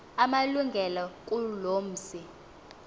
amalungelo kuloo mzi